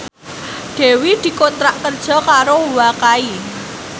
Dewi dikontrak kerja karo Wakai